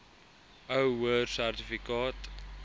ou hoër sertifikaat